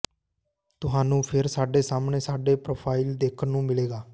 ਤੁਹਾਨੂੰ ਫਿਰ ਸਾਡੇ ਸਾਹਮਣੇ ਸਾਡੇ ਪ੍ਰੋਫ਼ਾਈਲ ਦੇਖਣ ਨੂੰ ਮਿਲੇਗਾ